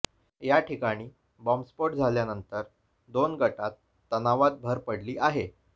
या ठिकाणी बॉम्बस्फोट झाल्यानंतर दोन गटात तणावात भर पडली आहे